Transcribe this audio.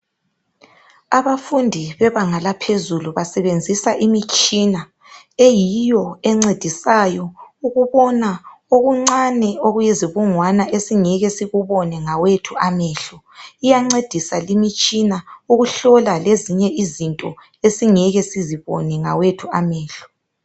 Abafundi bebanganga laphezulu basebenzisa imitshina ,eyiyo encedisayo ukubona oluncane okuyizibungwana esingeke sikubone ngawethu amehlo. Iyancedisa limitshina ukuhlola lezinye izinto esingeke sizibone ngawethu amehlo.